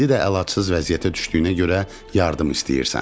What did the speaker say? İndi də əlacız vəziyyətə düşdüyünə görə yardım istəyirsən.